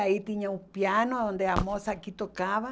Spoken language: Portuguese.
Aí tinha um piano onde a moça aqui tocava.